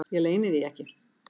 Ég leyni því ekki.